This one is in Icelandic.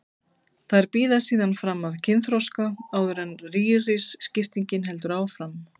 Þær bíða síðan fram að kynþroska áður en rýriskiptingin heldur áfram.